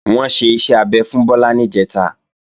Wọ́n ṣe iṣẹ́ abẹ fún Bọ́lá níjẹ̀ta